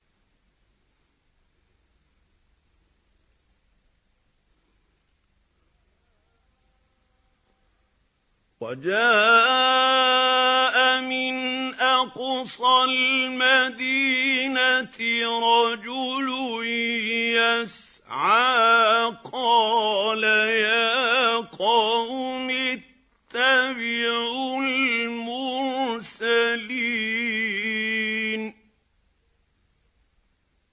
وَجَاءَ مِنْ أَقْصَى الْمَدِينَةِ رَجُلٌ يَسْعَىٰ قَالَ يَا قَوْمِ اتَّبِعُوا الْمُرْسَلِينَ